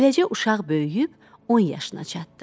Beləcə uşaq böyüyüb on yaşına çatdı.